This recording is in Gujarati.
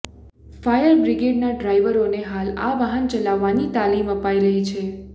ફાયર બ્રિગેડના ડ્રાઇવરોને હાલ આ વાહન ચલાવવાની તાલિમ અપાઇ રહી છે